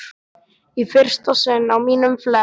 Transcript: Í fyrsta sinn á mínum flekk